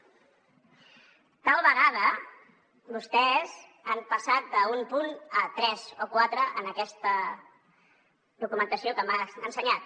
tal vegada vostès han passat d’un punt a tres o quatre en aquesta documentació que m’ha ensenyat